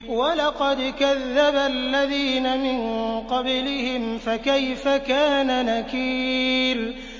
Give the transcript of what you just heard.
وَلَقَدْ كَذَّبَ الَّذِينَ مِن قَبْلِهِمْ فَكَيْفَ كَانَ نَكِيرِ